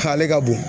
Kale ka bon